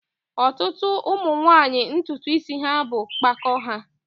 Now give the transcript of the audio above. ọtụtụ ụmụ nwanyị ntutu isi ha bụ mpako ha